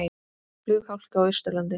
Flughálka á Austurlandi